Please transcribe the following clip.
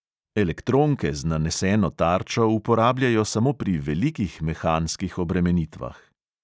Elektronke z naneseno tarčo uporabljajo samo pri velikih mehanskih obremenitvah.